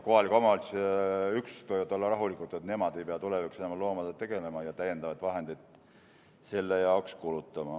Kohalike omavalitsuste üksused võivad olla rahulikud, et nemad ei pea tulevikus enam loomadega tegelema ja täiendavaid vahendeid selle jaoks kulutama.